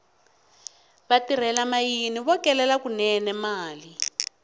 vatirhela mayini vo kelela kunene mali